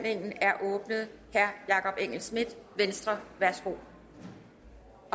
jakob engel schmidt venstre værsgo